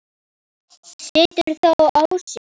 Situr þó á sér.